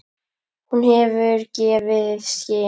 Hún gefur í skyn.